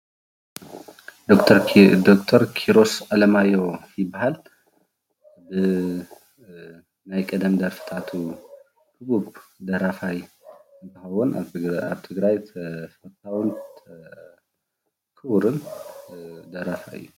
ደክቸር ኪሮስ ኣለማዮሁ ይበሃል ።ናይ ቅድም ደርፍታቱ ትግርኛ ህቡብ ክብርን ደራፋይ እዩ።